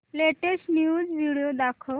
latest news video दाखव